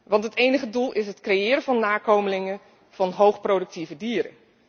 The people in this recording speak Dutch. Want het enige doel is het creëren van nakomelingen van hoog productieve dieren.